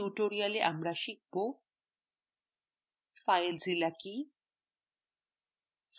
in tutorial আমরা শিখব: filezilla কি